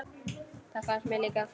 Það fannst mér líka.